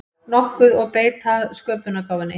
nokkuð og beita sköpunargáfunni.